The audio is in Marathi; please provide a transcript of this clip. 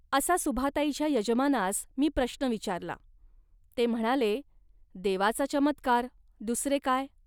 असा सुभाताईच्या यजमानास मी प्रश्न विचारला. ते म्हणाले, "देवाचा चमत्कार, दुसरे काय